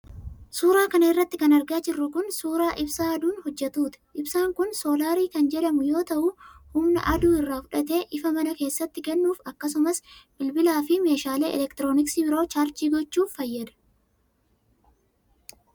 Suura kana irratti kan argaa jirru kun, suura Ibsaa aduun hojjatuuti. Ibsaan kun soolaarii kan jedhamu yoo ta'u, humna aduu irraa fudhatee ifa mana keessatti kennuuf akkasumas bilbilaa fi meeshaalee elektrooniksii biroo chaarjii gochuuf fayyada.